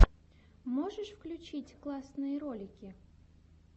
можешь включить классные ролики